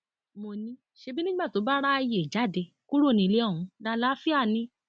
mo ní ṣebí nígbà tó bá ráàyè jáde kúrò nílé ohun lálàáfíà ni